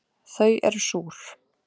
Þau eru súr